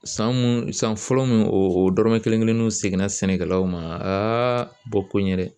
San san fɔlɔ mun dɔrɔmɛ kelen kelen seginna sɛnɛkɛlaw ma aa ko in yɛrɛ